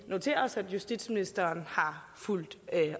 noteret os at justitsministeren har fulgt